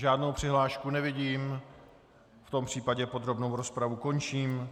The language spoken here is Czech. Žádnou přihlášku nevidím, v tom případě podrobnou rozpravu končím.